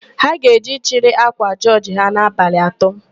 Ha ga-eje ịchịrị ákwà jọọjị ha n'abalị atọ.